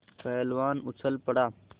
पहलवान उछल पड़ा